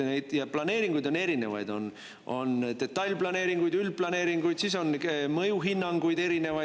Ja planeeringuid on erinevaid, on detailplaneeringuid, üldplaneeringuid, siis on mõjuhinnanguid erinevaid.